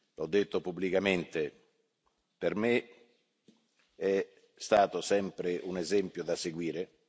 L'ho detto pubblicamente, per me è stato sempre un esempio da seguire.